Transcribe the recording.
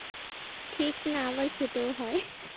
ঠিক না আবার খেতেও হয়।